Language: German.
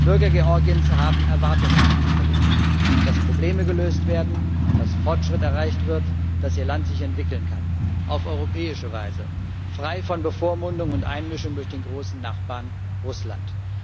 Die Bürger Georgiens haben Erwartungen an die Politik dass Probleme gelöst werden, dass Fortschritt erreicht wird, dass ihr Land sich entwickeln kann auf europäische Weise, frei von Bevormundung und Einmischung durch den großen Nachbarn Russland.